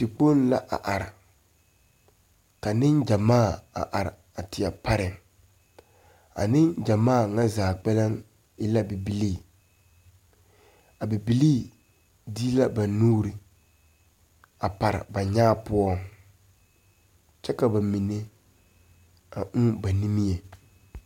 Tekpoŋ la a are ka niŋgyamaa a are teɛ pare a niŋgyamaa nyɛ zaa kpɛlɛŋ e la a bibilee a bibilee dee la na nuure a pare ba nyaa poɔŋ kyɛ ka ba mine a uu ba nige.